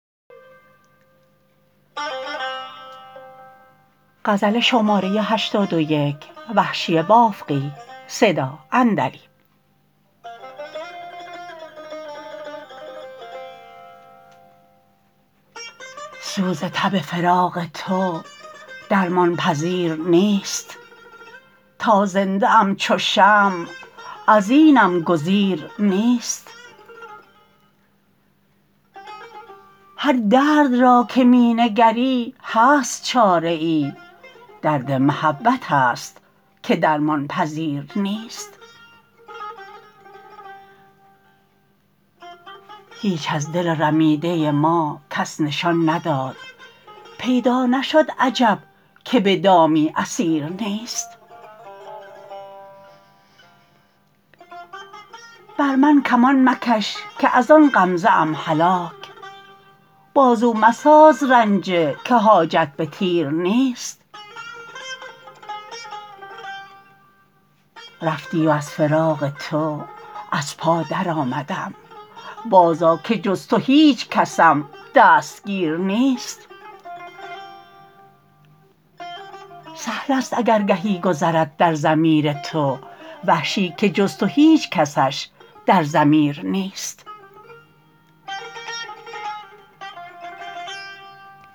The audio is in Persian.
سوز تب فراق تو درمان پذیر نیست تا زنده ام چو شمع از اینم گزیر نیست هر درد را که می نگری هست چاره ای درد محبت است که درمان پذیر نیست هیچ از دل رمیده ما کس نشان نداد پیدا نشد عجب که به دامی اسیر نیست بر من کمان مکش که از آن غمزه ام هلاک بازو مساز رنجه که حاجت به تیر نیست رفتی و از فراق تو از پا درآمدم باز آ که جز تو هیچ کسم دستگیر نیست سهل است اگر گهی گذرد در ضمیر تو وحشی که جز تو هیچ کسش در ضمیر نیست